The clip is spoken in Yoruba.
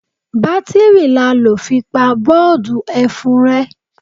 Batiri la lọ fi pa boodu ẹfun rẹ.